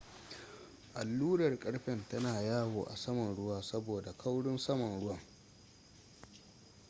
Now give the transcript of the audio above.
allurar ƙarfen tana yawo a saman ruwa saboda kaurin saman ruwa